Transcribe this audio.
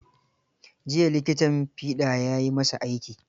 Jiya likitan fiɗa ya yi masa aiki.